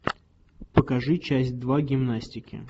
покажи часть два гимнастики